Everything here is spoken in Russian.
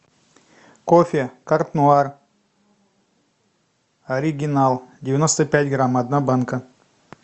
кофе карт нуар оригинал девяносто пять грамм одна банка